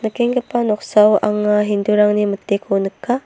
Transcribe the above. nikenggipa noksao anga hindu-rangni miteko nika.